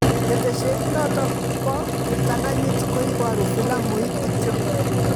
Keteshet notok bo kiptanganyit koibaru filamuit kityo